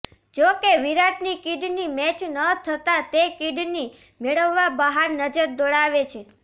જોકે વિરાટની kidney match ન થતા તે કિડની મેળવવા બહાર નજર દોડાવે છે